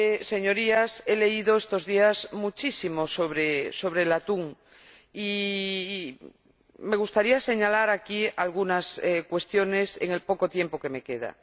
Señorías, he leído estos días muchísimo sobre el atún, y me gustaría señalar aquí algunas cuestiones en el poco tiempo que me queda.